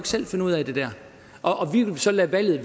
selv finde ud af og vi vil så lade valget